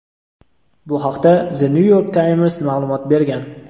Bu haqda "The New York Times" ma’lumot bergan.